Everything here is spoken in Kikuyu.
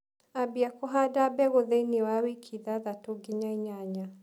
Ambia kũhanda mbegũ thĩini wa wiki ithathatũ nginya inyanya.